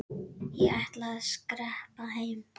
Ég ætla að skreppa heim.